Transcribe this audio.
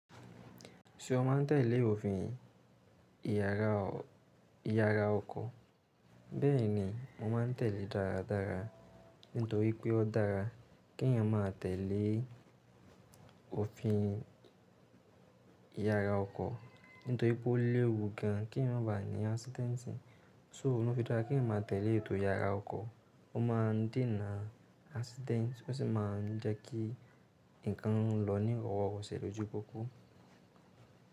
Ṣé o má n tèlé òfin ìyara ọkọ̀? Bẹ́ẹ̀ni, mo má n tèlé dáradára nítorí pé ó dára kí ẹ̀yin máa tèlé òfin ìyara ọkọ̀. Nítorí pé ó léwu gan kí ẹ̀yin má ba ní accident sí. So, ó ní fi dára kí ẹ̀yin máa tèlé ètò ìyara ọkọ̀, ó má ń dènà accident, ó sì má n jẹ́ kí ǹkan lọ̀ ní ọ̀wọ̀ọ̀wọ̀ kò ṣe lójú pọ́kú.